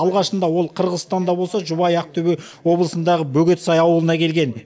алғашында ол қырғызстанда болса жұбайы ақтөбе облысындағы бөгетсай ауылына келген